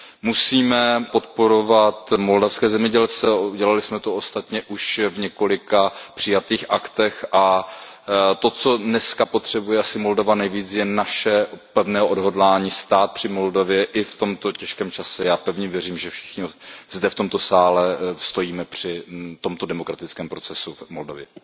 Musíme podporovat moldavské zemědělce a udělali jsme to ostatně už v několika přijatých aktech a to, co dneska potřebuje asi Moldavsko nejvíce, je naše pevné odhodlání stát při Moldavsku i v tomto těžkém čase. Já pevně věřím, že všichni zde v tomto sále stojíme při tomto demokratickém procesu v Moldavsku.